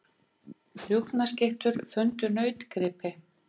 Rjúpnaskyttur fundu nautgripi